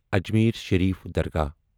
Ajmer Sharif Dargah